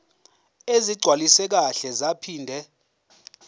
ezigcwaliswe kahle zaphinde